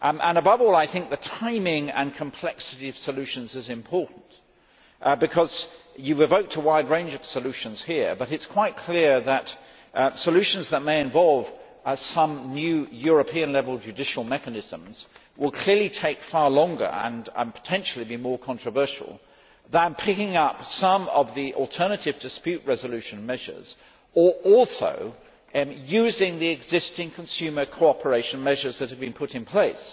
Above all, I think the timing and complexity of solutions is important, because you have evoked a wide range of solutions here, but it is quite clear that solutions that may involve some new European level judicial mechanisms will clearly take far longer and potentially be more controversial than picking up some of the alternative dispute resolution measures or also using the existing consumer cooperation measures that have been put in place.